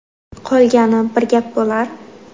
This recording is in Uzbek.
Qolgani bir gap bo‘lar.